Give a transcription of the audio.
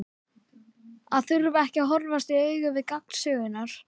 Að þurfa ekki að horfast í augu við gang sögunnar.